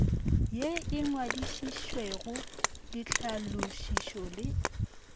ye e ngwadišitšwego ditlhalošišo le